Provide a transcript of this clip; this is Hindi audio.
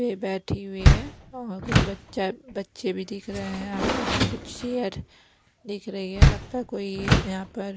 पे बैठी हुई है और कुछ बच्चा बच्चे भी दिख रहे हैं आसपास में कुछ चेयर दिख रही है लगता है कोई यहां पर--